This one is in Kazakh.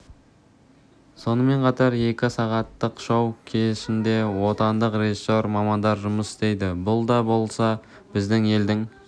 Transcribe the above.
сонымен қатар екі сағаттық шоу кешінде отандық режиссер мамандар жұмыс істейді бұл да болса біздің елдің